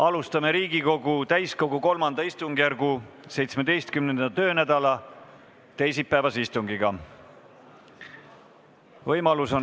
Alustame Riigikogu täiskogu III istungjärgu 17. töönädala teisipäevast istungit.